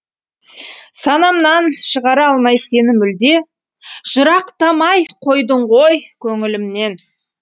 санамнан шығара алмай сені мүлде жырақтамай қойдың ғой көңілімнен